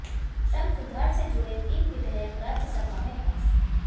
श्रम सुधार से जुड़े तीन विधेयक राज्यसभा में पास